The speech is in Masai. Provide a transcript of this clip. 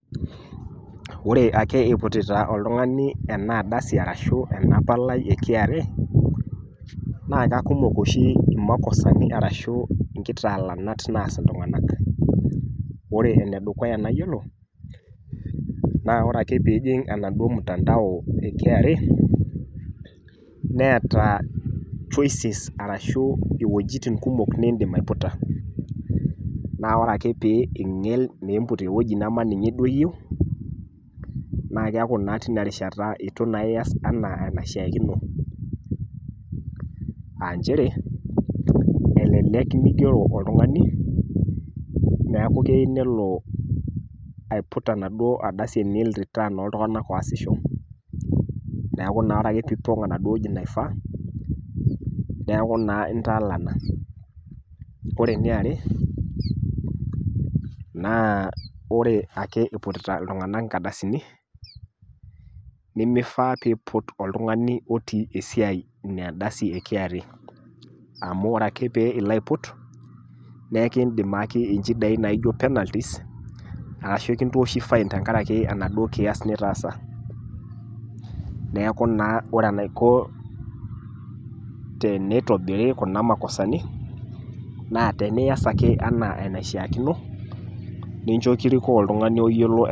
Ore ake eiputita oltung'ani ena ardasi atashu enapalai e kra naakekumok oshi makosani arashuu nkitaalanat naas iltung'anak. Ore enedukuya nayiolo naa ore ake piijing' enaduo mutandao e kra neeta choices arashu iwuejitin kumok nindim aiputa. Naa ore ake pii ing'el niimput ewueji nemaninye duo iyou naakeaku naa tinarishata eitu naa ias anaa enaishiakino aanchere elelek meigero oltung'ani neaku keyiu nelo aiput enaduo ardasi enil return ooltung'anak oasisho . Neaku naa ore piipong' enaduo wueji naifaa neaku naa intaalana. Kore eneare naa ore ake eiputita iltung'ana inkadasini nemeifaa peeiput oltung'ani otii esiai inaadasi e kra amu ore ake pee iloaiput neekindim aaki inchidai naaijo  penalities arashu kintooshi fine tengarake enaduo kias nitaasa. Neaku naa ore enaiko teneitobiri kuna makosani naa tenias ake anaa enaishiaakino nincho kirikoo oltung'ani oyiolo ena.